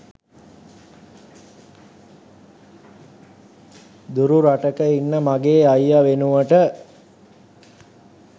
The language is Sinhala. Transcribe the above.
දුරු රටක ඉන්න මගෙ අයිය වෙනුවට